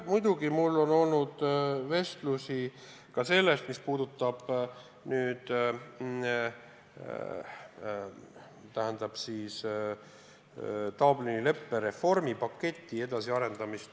Muidugi mul on olnud vestlusi Dublini leppe reformipaketi edasiarendamisest.